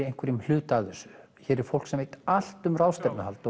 einhverjum hlut af þessu hér er fólk sem veit allt um ráðstefnuhald